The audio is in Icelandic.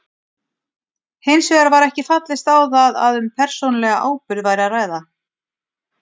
Hins vegar var ekki fallist á það að um persónulega ábyrgð væri að ræða.